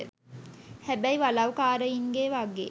හැබැයි වලව් කාරයින්ගේ වගේ